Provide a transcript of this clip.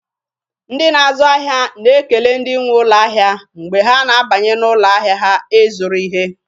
Ndị na-azụ ahịa na-ekele ndị nwe ụlọ ahịa mgbe ha na-abanye n'ụlọ ahịa ha ịzụrụ ihe.